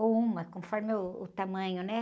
ou uma, conforme uh, o tamanho, né?